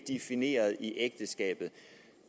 defineret i ægteskabet